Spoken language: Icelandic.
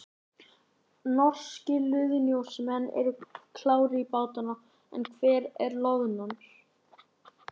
Norskir loðnusjómenn eru klárir í bátana en hvar er loðnan?